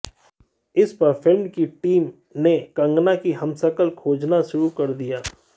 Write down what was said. इस पर फ़िल्म की टीम ने कंगना की हमशक्ल खोजना शुरू कर दिया